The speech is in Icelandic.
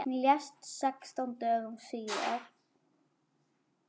Hún lést sextán dögum síðar.